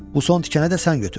Bu son tikənə də sən götür.